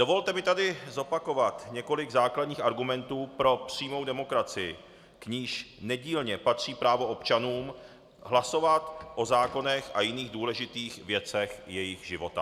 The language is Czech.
Dovolte mi tady zopakovat několik základních argumentů pro přímou demokracii, k níž nedílně patří právo občanů hlasovat o zákonech a jiných důležitých věcech jejich života.